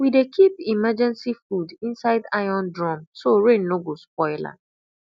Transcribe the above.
we dey keep emergency food inside iron drum so rain no spoil am